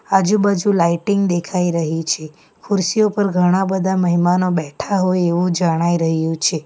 આજુ-બાજુ લાઇટિંગ દેખાઈ રહી છે ખુરશી ઉપર ઘણા બધા મહેમાનો બેઠા હોય એવુ જણાઈ રહ્યુ છે.